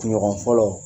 Kunɲɔgɔn fɔlɔ